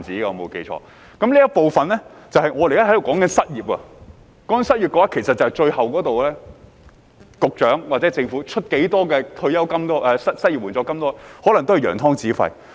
我們現時在這部分討論失業，其實不論局長或政府最終願意推出多少失業援助金，可能也只是揚湯止沸。